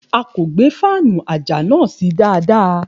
A kò gbé fáànù àjà náà sí dáadáa.